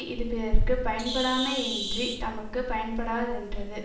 இது பிறர்க்கு பயன்படாமையேயன்றித் தமக்கும் பயன்படாரென்றது